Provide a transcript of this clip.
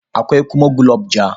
Akwai kuma gulob ja.